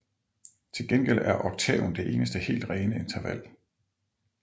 Til gengæld er oktaven det eneste helt rene interval